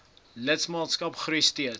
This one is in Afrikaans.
lidmaatskap groei steeds